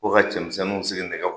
Ko ka cɛmisɛnninw sigi nɛgɛ